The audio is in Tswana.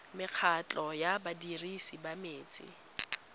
mekgatlho ya badirisi ba metsi